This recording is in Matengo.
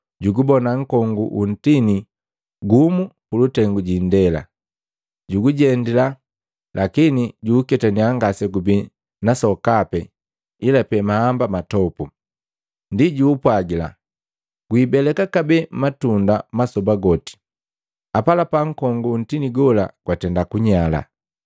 Juubona nkongu wu ntini gumu pulutengu jiindela, juujendila lakini juuketanya ngasegubi na sokape ila pe mahamba matopu. Ndii juupwagila, “Wiibeleka kabee matunda masoba goti!” Apalapa nkongu wo ntini gola gwatenda kunyala.